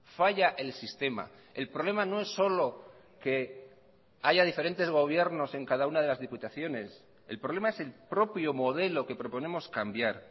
falla el sistema el problema no es solo que haya diferentes gobiernos en cada una de las diputaciones el problema es el propio modelo que proponemos cambiar